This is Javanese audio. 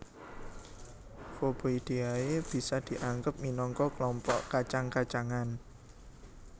Faboideae bisa diangggep minangka klompok kacang kacangan